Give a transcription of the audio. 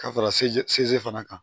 Ka fara se fana kan